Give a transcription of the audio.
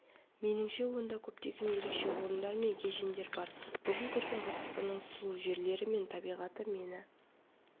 меніңше онда көптеген ерекше орындар мен кешендер бар бүгін көрген қазақстанның сұлу жерлері мен табиғаты мені